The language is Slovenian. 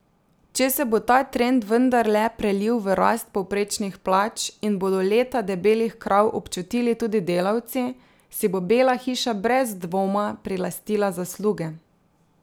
Če se bo ta trend vendarle prelil v rast povprečnih plač in bodo leta debelih krav občutili tudi delavci, si bo Bela hiša brez dvoma prilastila zasluge.